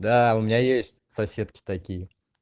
да у меня есть соседки такие